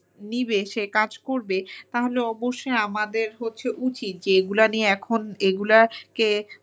নিবে সে কাজ করবে তাহলে অবশ্যই আমাদের উচিত যে এগুলা নিয়ে এখন এগুলাকে